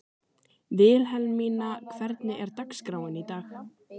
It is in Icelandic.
Vilhelmína, hvernig er dagskráin í dag?